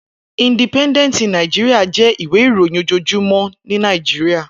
Indípèndèntí Nàijiriá jè iwé iróyin ójójúmò ni Nàijiriá